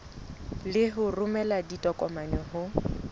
le ho romela ditokomane ho